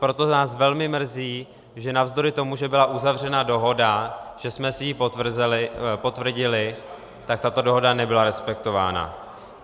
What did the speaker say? Proto nás velmi mrzí, že navzdory tomu, že byla uzavřena dohoda, že jsme si ji potvrdili, tak tato dohoda nebyla respektována.